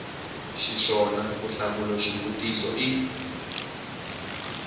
xiswona ku hlamula xivutiso i